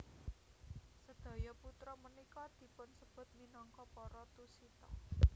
Sedaya putra punika dipunsebut minangka para Tusita